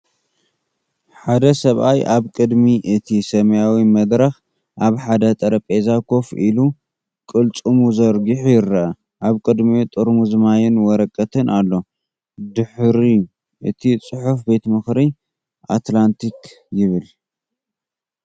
ሓደ ሰብኣይ ኣብ ቅድሚ እቲ ሰማያዊ መድረክ ኣብ ሓደ ጠረጴዛ ኮፍ ኢሉ ቅልጽሙ ዘርጊሑ ይርአ፤ ኣብ ቅድሚኡ ጥርሙዝ ማይን ወረቐትን ኣሎ። ድሒሩ እቲ ጽሑፍ 'ቤት ምኽሪ ኣትላንቲክ' ይብል።